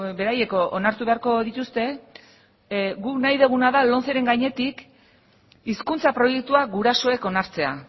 beraiek onartu beharko dituzte guk nahi duguna da lomceren gainetik hizkuntza proiektua gurasoek onartzea